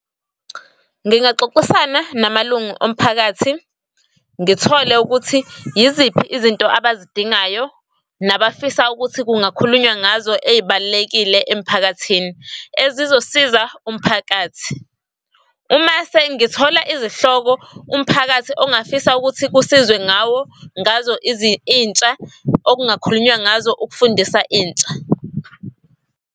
Ngingaxoxisana namalungu omphakathi ngithole ukuthi yiziphi izinto abazidingayo nabafisayo ukuthi kungakhulunywa ngazo ey'balulekile emphakathini, ezizosiza umphakathi. Uma sengithola izihloko umphakathi ongafisa ukuthi kusizwe ngawo ngazo intsha okungakhulunywa ngazo ukufundisa intsha.